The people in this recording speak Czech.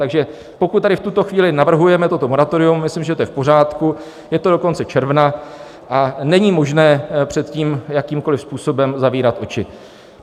Takže pokud tady v tuto chvíli navrhujeme toto moratorium, myslím, že je to v pořádku, je to dokonce června a není možné před tím jakýmkoliv způsobem zavírat oči.